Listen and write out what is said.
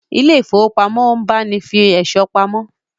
Ilé ifówópamọ́ ń báni fi ẹ̀ṣọ́ pamọ́